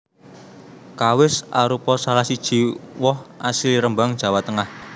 Kawis arupa salah siji woh asli Rembang Jawa Tengah